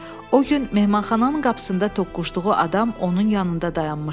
O gün mehmanxananın qapısında toqquşduğu adam onun yanında dayanmışdı.